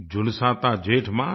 झुलसाता जेठ मास